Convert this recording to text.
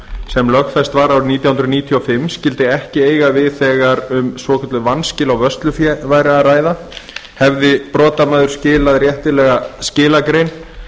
sem lögfest var árið nítján hundruð níutíu og fimm skyldi ekki eiga við þegar um svokölluð vanskil á vörslufé væri að ræða hefði brotamaður skilað réttilega skilagrein